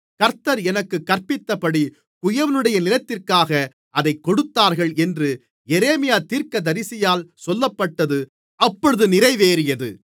கர்த்தர் எனக்குக் கற்பித்தபடி குயவனுடைய நிலத்திற்காக அதைக் கொடுத்தார்கள் என்று எரேமியா தீர்க்கதரிசியால் சொல்லப்பட்டது அப்பொழுது நிறைவேறியது